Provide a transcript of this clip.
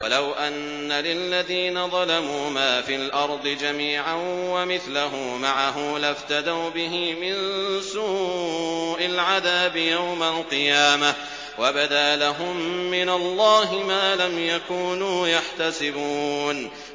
وَلَوْ أَنَّ لِلَّذِينَ ظَلَمُوا مَا فِي الْأَرْضِ جَمِيعًا وَمِثْلَهُ مَعَهُ لَافْتَدَوْا بِهِ مِن سُوءِ الْعَذَابِ يَوْمَ الْقِيَامَةِ ۚ وَبَدَا لَهُم مِّنَ اللَّهِ مَا لَمْ يَكُونُوا يَحْتَسِبُونَ